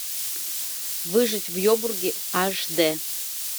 выжить в ебурге аш дэ